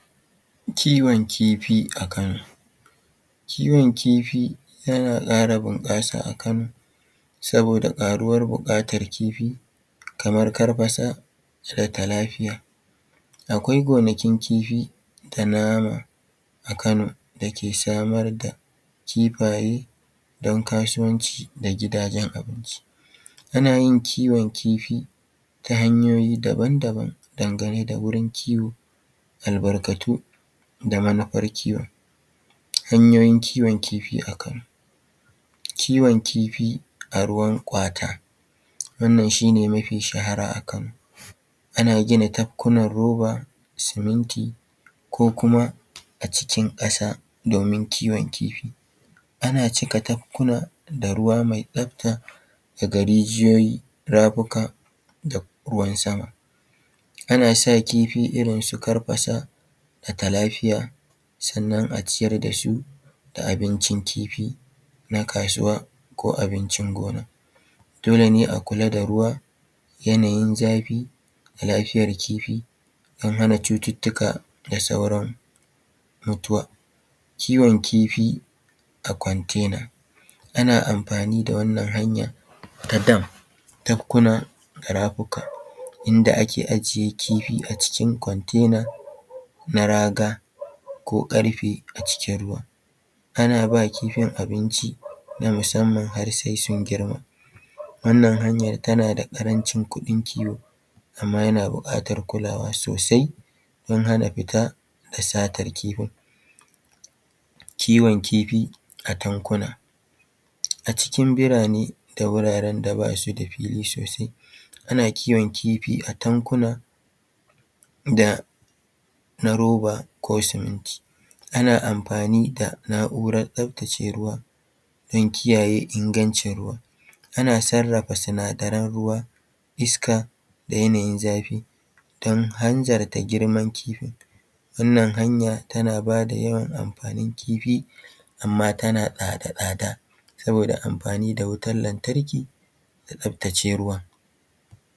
Kiwon kifi a Kano. Kiwon kifi yana ƙara bunƙasa a Kano saboda ƙaruwar buƙatar kifi kamar karfasa da talafiya. Akwai gonakin kifi da nama a Kano da ke samar da kifaye don kasuwanci da gida don abinci. Ana yin kiwon kifi ta hanyoyi daban-daban dangane da wurin kiwo, albarkatu da manufar kiwon. Hanyoyin kiwon kifi a Kano. Kiwon kifi a ruwan kwata: Wannan shi ne mafi shahara a Kano. Ana gina tafkunan roba, suminti, ko kuma a cikin ƙasa domin kiwon kifi. Ana cika tafkuna da ruwa mai tsabta daga rijiyoyi, rafuka da ruwan-sama. Ana sa kifi irin su karfasa da talafiya, sannan a ciyar da su da abincin kifi na kasuwa ko abincin gona. Dole ne a kula da ruwa, yanayin zafi, da lafiyar kifi don hana cututtuka da saurin mutuwa. Kiwon kifi a container: Ana amfani da wannan hanya ta dam, tabkuna da rafuka inda ake ajiye kifi a cikin container na raga ko ƙarfe a cikin ruwa. Ana ba kifin abinci na musamman har sai sun girma: Wannan hanyar tana da ƙarancin kuɗin kiwo amma yana buƙatar kulawa sosai don hana fita da satar kifin. Kiwon kifi a tankuna: A cikin birane da wuraren da ba su da fili sosai, ana kiwon kifi a tankuna da na roba ko suminti. Ana amfani da na’urar tsabtace ruwa don kiyaye ingancin ruwa. Ana sarrafa sinadaran ruwa, iska da yanayin zafi don hanzarta girman kifi: Wannan hanya tana bada yawan amfanin kifi amma tana da tsada saboda amfani da wutan lantarki da tsabtace ruwan.